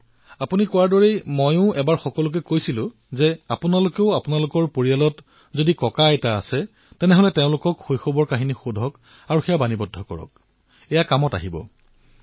আৰু যিদৰে আপুনি কলে মইও এবাৰ মন কী বাতত সকলোকে কৈছিলো যে পৰিয়ালত নিজৰ ককাআইতাৰ পৰা তেওঁলোকৰ শৈশৱৰ কাহিনী সোধক সেইসমূহ টেপ কৰক আৰু এয়া পিছলৈ বহু কামত আহিব